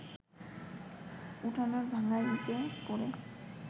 উঠোনের ভাঙা ইটে পড়ে